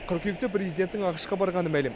қыркүйекте президенттің ақш қа барғаны мәлім